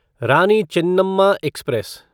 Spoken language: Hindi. रानी चेन्नम्मा एक्सप्रेस